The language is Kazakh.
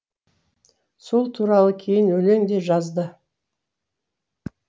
сол туралы кейін өлең де жазды